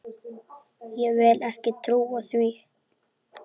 Ég vildi ekki trúa því.